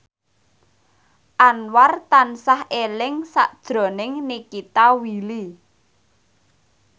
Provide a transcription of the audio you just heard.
Anwar tansah eling sakjroning Nikita Willy